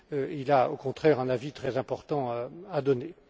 Il a, au contraire, un avis très important à donner.